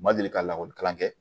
Ma deli ka lakɔli kalan kɛ